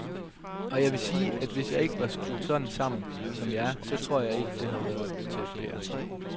Og jeg vil sige, at hvis jeg ikke var skruet sådan sammen, som jeg er, så tror jeg ikke det havde været til at bære.